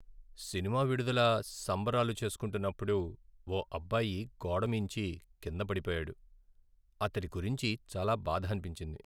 Cinema విడుదల సంబరాలు చేస్కుంటున్నప్పుడు ఓ అబ్బాయి గోడ మీంచి కింద పడిపోయాడు. అతడి గురించి చాలా బాధ అనిపించింది.